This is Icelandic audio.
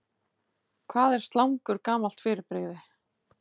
Hvað er slangur gamalt fyrirbrigði?